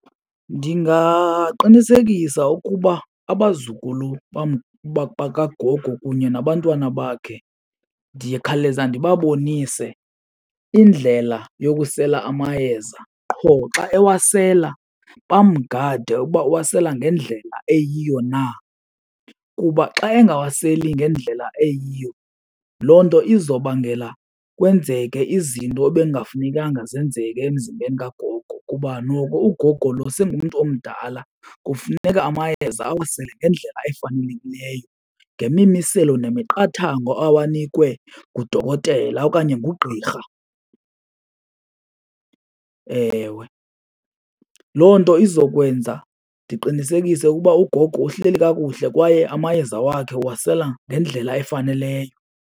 Ndingaqinisekisa ukuba abazukulu bakagogo kunye nabantwana bakhe ndikhawuleze ndibabonise indlela yokusela amayeza. Qho xa ewasela, bamgade ukuba uwasela ngendlela eyiyo na. Kuba xa engawaseli ngendlela eyiyo, loo nto izobangela kwenzeke izinto ebekungafunekanga zenzeke emzimbeni kagogo kuba noko ugogo lo sengumntu omdala, kufuneka amayeza awasele ngendlela efanelekileyo ngemimiselo nemiqathango awanikwe ngudokotela okanye ngugqirha. Ewe, loo nto izokwenza ndiqinisekise ukuba ugogo uhleli kakuhle kwaye amayeza wakhe uwasela ngendlela efaneleyo.